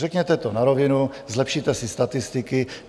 Řekněte to na rovinu, zlepšíte si statistiky.